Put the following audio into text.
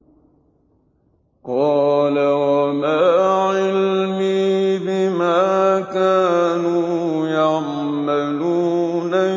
قَالَ وَمَا عِلْمِي بِمَا كَانُوا يَعْمَلُونَ